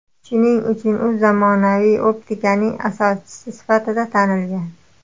Shuning uchun u zamonaviy optikaning asoschisi sifatida tanilgan.